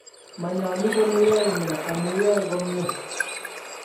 mayalu kole yae nee amu yae komie